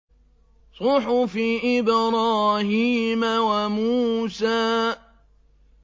صُحُفِ إِبْرَاهِيمَ وَمُوسَىٰ